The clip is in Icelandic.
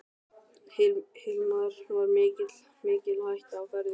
Hilmar: Var mikil hætta á ferðum?